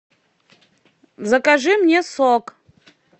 закажи мне сок